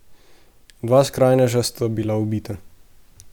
Dva skrajneža sta bila ubita.